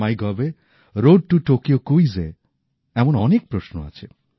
মাইগভে road to Tokyo ক্যুইজে এমন অনেক প্রশ্ন আছে